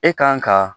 E kan ka